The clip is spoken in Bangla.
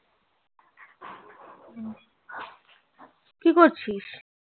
কি করছিস